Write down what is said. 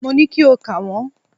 Mo ní kí o kà wọ́n.